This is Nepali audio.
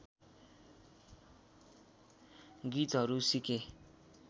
गीतहरू सिके